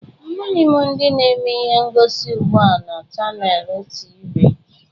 Amaghị m ndị na-eme ihe ngosi ugbu a na Chanels tivi.